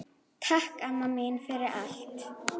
Takk, amma mín, fyrir allt.